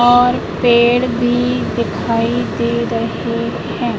और पेड़ भी दिखाई दे रहे हैं।